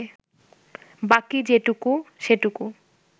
বাকি যেটুকু, সেটুকু